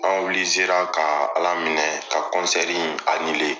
An ka Ala minɛ ka